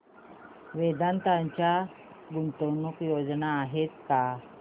वेदांत च्या गुंतवणूक योजना आहेत का